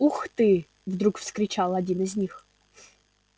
ух ты вдруг вскричал один из них